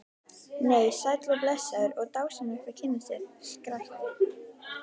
Nei, sæll og blessaður og dásamlegt að kynnast þér, skrækti